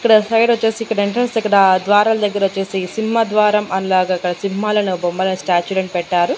ఇక్కడ సైడ్ ఓచేసి ఇక్కడ ఎంట్రన్స్ ఇక్కడ ద్వారాల దగ్గరొచ్చేసి సింహద్వారం అనేలాగా ఇక్కడ సింహాలను బొమ్మలను స్టాచులను పెట్టారు.